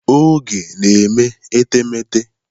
Oge na-eme etemeete.